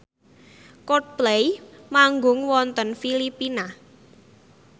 Coldplay manggung wonten Filipina